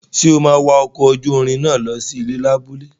Ṣé o máa wọ ọkọ̀ ojúrin náà lọ sí abúlé náà?